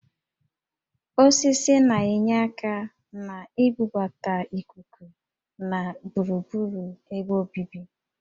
Osisi na-enyere aka na-ibubata íkúkú na gburugburu ebe obibi